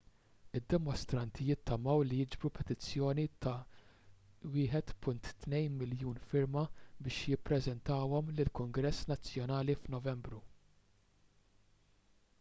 id-dimostranti jittamaw li jiġbru petizzjoni ta' 1.2 miljun firma biex jippreżentawhom lill-kungress nazzjonali f'novembru